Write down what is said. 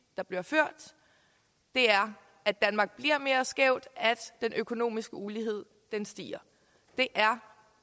der bliver ført er at danmark bliver mere skævt og at den økonomiske ulighed stiger det er